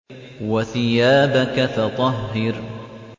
وَثِيَابَكَ فَطَهِّرْ